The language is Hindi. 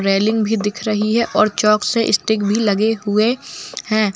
रेलिंग भी दिख रही है और चौक से स्टिक भी लगे हुए हैं।